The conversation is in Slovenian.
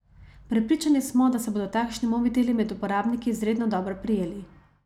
Prepričani smo, da se bodo takšni mobiteli med uporabniki izredno dobro prijeli.